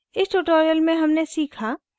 इस tutorial में हमने सीखा: